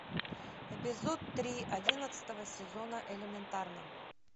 эпизод три одиннадцатого сезона элементарно